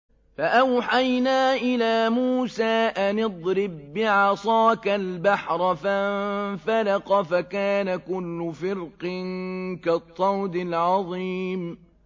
فَأَوْحَيْنَا إِلَىٰ مُوسَىٰ أَنِ اضْرِب بِّعَصَاكَ الْبَحْرَ ۖ فَانفَلَقَ فَكَانَ كُلُّ فِرْقٍ كَالطَّوْدِ الْعَظِيمِ